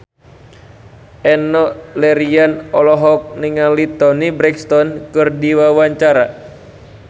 Enno Lerian olohok ningali Toni Brexton keur diwawancara